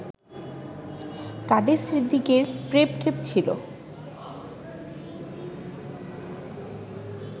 কাদের সিদ্দিকীর প্রেম ট্রেম ছিল